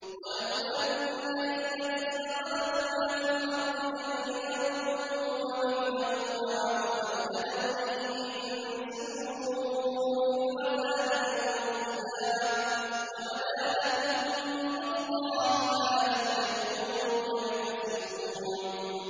وَلَوْ أَنَّ لِلَّذِينَ ظَلَمُوا مَا فِي الْأَرْضِ جَمِيعًا وَمِثْلَهُ مَعَهُ لَافْتَدَوْا بِهِ مِن سُوءِ الْعَذَابِ يَوْمَ الْقِيَامَةِ ۚ وَبَدَا لَهُم مِّنَ اللَّهِ مَا لَمْ يَكُونُوا يَحْتَسِبُونَ